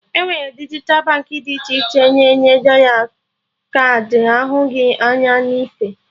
Enwere dijital Baankị dị iche iche na-enye dọla kaadị ahụghị anya na ife